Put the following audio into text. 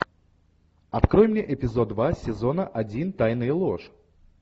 открой мне эпизод два сезона один тайны и ложь